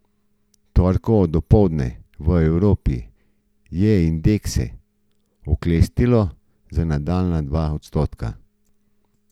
Torkovo dopoldne v Evropi je indekse oklestilo za nadaljnja dva odstotka.